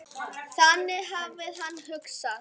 Þannig hafði hann hugsað.